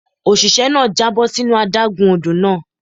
Òṣìṣẹ́ náà já bọ́ sínú adágún odò náà.